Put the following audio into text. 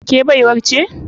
Ke baiwar ce?